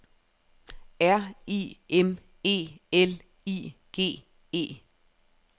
R I M E L I G E